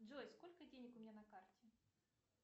джой сколько денег у меня на карте